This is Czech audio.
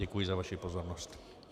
Děkuji za vaši pozornost.